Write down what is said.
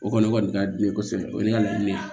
O kɔni ka di ne ye kosɛbɛ o ye ne ka laɲini ye